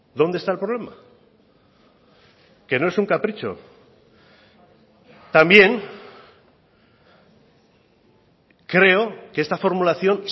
dónde está el problema que no es un capricho también creo que esta formulación